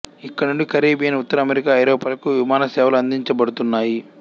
ఇక్కడ నుండి కరేబియన్ ఉత్తర అమెరికా ఐరోపాలకు విమానసేవలు అందించబడుతున్నాయి